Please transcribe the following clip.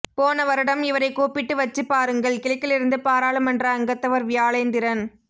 போனவருடம் இவரை கூப்பிட்டு வச்சி பாருங்கள் கிழக்கிலிருந்து பாராளுமன்ற அங்கத்தவர் வியாழேந்திரன்